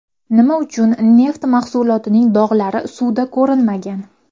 Nima uchun neft mahsulotining dog‘lari suvda ko‘rinmagan?